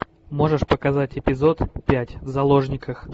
можешь показать эпизод пять в заложниках